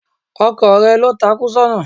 Ọkò rẹ lo takú sóna